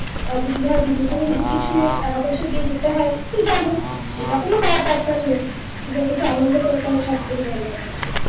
আর যদি ধর নিজে থেকে কিছু টাকা- পয়সা দিয়ে যেতে হয় তো যাবো সেটা কোনো ব্যাপার তো আর নেই বরংচ আনন্দ করাটা সবথেকে বড়ো ব্যাপার